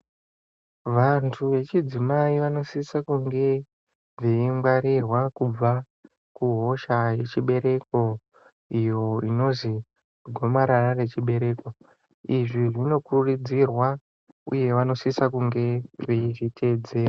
Vantu vechidzimai vanosise kunge veingwarirwa kubva kuhosha yechibereko iyo inozi gomarara nechibereko izvi zvinokurudzirwa uye vanosisa kunge veizviteedzera.